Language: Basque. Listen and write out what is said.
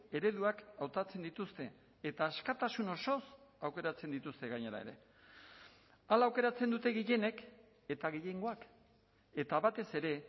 ereduak hautatzen dituzte eta askatasun osoz aukeratzen dituzte gainera ere hala aukeratzen dute gehienek eta gehiengoak eta batez ere